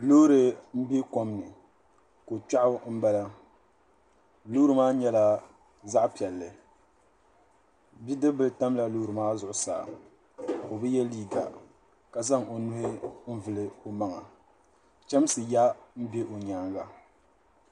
Loori n be kom ni. Ko kpiɛɣu n bala. loori maa nyela zaɣi pielli. Bidibbila tamla loori maa zuɣu saa. O be ye liiga ka zaŋ o nuhu n vuli o maŋa. Chamsi ya n be o nyaaŋa.